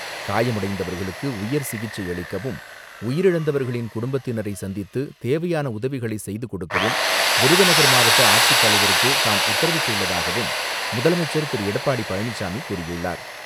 காயமடைந்தவர்களுக்கு உயர் சிகிச்சை அளிக்கவும் குடும்பத்தினரை சந்தித்து தேவையான உதவிகளை செய்துகொடுக்கவும் விருதுநகர் மாவட்ட ஆட்சித்தலைவருக்கு தாம் உத்தரவிட்டுள்ளதாகவும் முதலமைச்சர் திரு எடப்பாடி பழனிச்சாமி கூறியுள்ளார்.